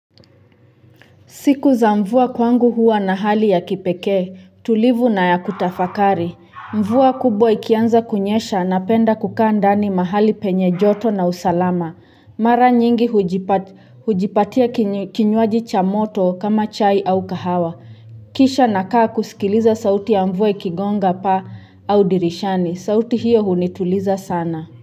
Siku za mvua kwangu huwa na hali ya kipekee tulivu na ya kutafakari mvua kubwa ikianza kunyesha napenda kukaa ndani mahali penye joto na usalama mara nyingi hujipa hujipatia kinywaji cha moto kama chai au kahawa kisha nakaa kusikiliza sauti ya mvua ikigonga paa au dirishani sauti hiyo hunituliza sana.